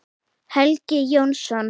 Helgi Jónsson